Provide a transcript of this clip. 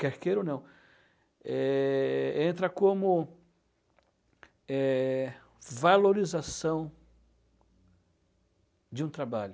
Quer queira ou não, eh, entra como, eh, valorização de um trabalho.